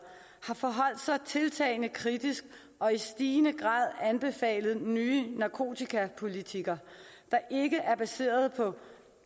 har forholdt sig tiltagende kritisk og i stigende grad anbefalet nye narkotikapolitikker der ikke er baseret på